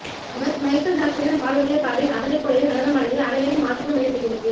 அவர் Michael ஜாக்சனின் பாடல்களைப் பாடி அவரை போலவே நடனமாடியது அனைவரையும் ஆச்சரியம் அடைய செய்துள்ளது